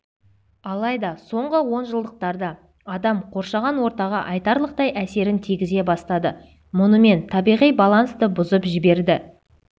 алайда соңғы онжылдықтарда адам қоршаған ортаға айтарлықтай әсерін тигізе бастады мұнымен табиғи балансты бұзып жіберді